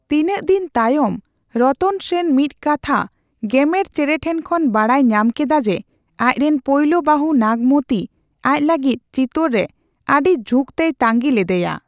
ᱛᱤᱱᱟᱹᱜ ᱫᱤᱱ ᱛᱟᱭᱚᱢ, ᱨᱚᱛᱚᱱ ᱥᱮᱱ ᱢᱤᱫ ᱠᱟᱛᱷᱟ ᱜᱮᱢᱮᱨ ᱪᱮᱸᱲᱮ ᱴᱷᱮᱱ ᱠᱷᱚᱱ ᱵᱟᱰᱟᱭ ᱧᱟᱢ ᱠᱮᱫᱟ ᱡᱮ, ᱟᱡᱨᱮᱱ ᱯᱚᱭᱞᱳ ᱵᱟᱹᱦᱩ ᱱᱟᱜᱢᱚᱛᱤ ᱟᱡ ᱞᱟᱹᱜᱤᱛ ᱪᱤᱛᱳᱨ ᱨᱮ ᱟᱹᱰᱤ ᱡᱷᱩᱠᱛᱮᱭ ᱛᱟᱱᱜᱤ ᱞᱮᱫᱮᱭᱟ ᱾